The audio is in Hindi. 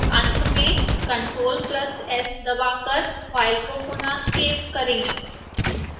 अंत में ctrl + s दबाकर फ़ाइल को पुनः सेव करें